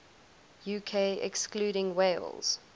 uk excluding wales